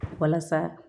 Walasa